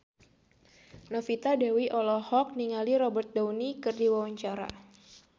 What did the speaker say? Novita Dewi olohok ningali Robert Downey keur diwawancara